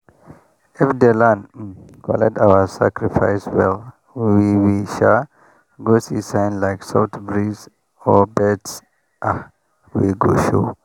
if the land um collect our sacrifice well we we like go see sign like soft breeze or birds sha wey go show.